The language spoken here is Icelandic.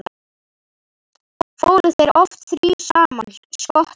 Fóru þeir oft þrír saman: Skotti